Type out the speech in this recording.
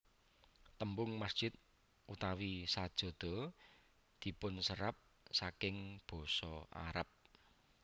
Tembung masjid utawi sajada dipunserap saking basa Aram